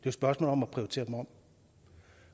et spørgsmål om at prioritere dem om